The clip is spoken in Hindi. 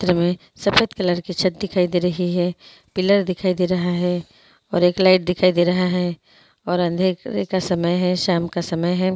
उप्पर हमें सफेद कलर की छत दिखाई दे रही है पिलर दिखाई दे रहा है और एक लाइट दिखाई दे रहा है और अंधेरे का समय है शाम का समय है।